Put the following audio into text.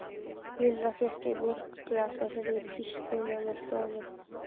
Lilla fékk sér mjólkurglas og heyrði pískrið innan úr stofu.